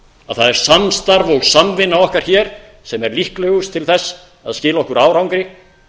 að það er samstarf og samvinna okkar hér sem er líklegust til þess að skila okkur árangri